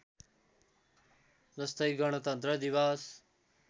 जस्तै गणतन्त्र दिवस